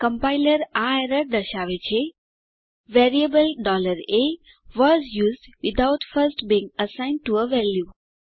compiler આ error દર્શાવે છે variable a was used without first being assigned to a value